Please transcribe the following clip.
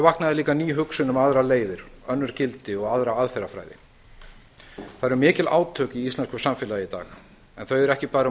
vaknaði líka ný hugsun um aðrar leiðir önnur gildi og aðra aðferðafræði það eru mikil átök í íslensku samfélagi í dag en þau eru ekki bara um